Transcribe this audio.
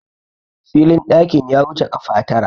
filin ɗakin ya wuce kafa Tara